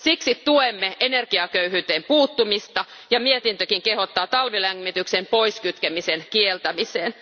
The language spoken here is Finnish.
Siksi tuemme energiaköyhyyteen puuttumista, ja mietintökin kehottaa talvilämmityksen poiskytkemisen kieltämiseen.